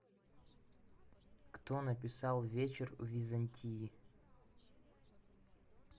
кто написал вечер в византии